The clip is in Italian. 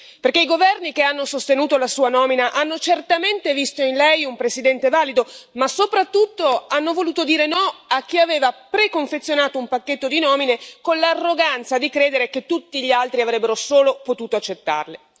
Perché i governi che hanno sostenuto la Sua nomina hanno certamente visto in Lei un presidente valido, ma soprattutto hanno voluto dire no a chi aveva preconfezionato un pacchetto di nomine con l'arroganza di credere che tutti gli altri avrebbero solo potuto accettarle.